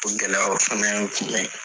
O gɛlɛya o fɛnɛ y'an tinɛ ye